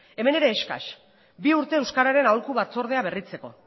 hemen ere eskas bi urte euskararen aholku batzordea berritzeko